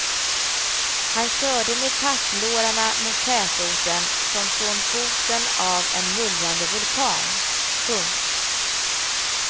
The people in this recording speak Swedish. Han körde med packlårarna mot tätorten som från foten av en mullrande vulkan. punkt